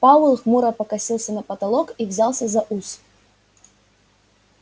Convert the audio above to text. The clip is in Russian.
пауэлл хмуро покосился на потолок и взялся за ус